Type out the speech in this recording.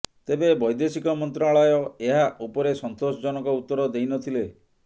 ତେବେ ବୈଦେଶିକ ମନ୍ତ୍ରଣାଳୟ ଏହା ଉପରେ ସନ୍ତୋଷଜନକ ଉତ୍ତର ଦେଇ ନ ଥିଲେ